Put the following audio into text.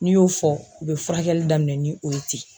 N'i y'o fɔ u be furakɛli daminɛ ni o ye ten.